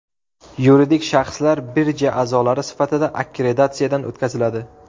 Yuridik shaxslar birja a’zolari sifatida akkreditatsiyadan o‘tkaziladi.